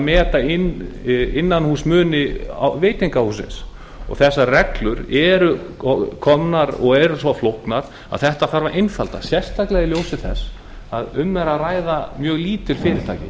meta innanhúsmuni veitingahússins þessar reglur eru komnar og eru svo flóknar að þetta þarf að einfalda sérstaklega í ljósi þess að um er að ræða mjög lítil fyrirtæki